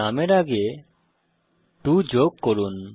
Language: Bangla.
নামের আগে 2 যোগ করুন